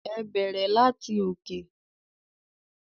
Ẹ bẹrẹ lati òkè.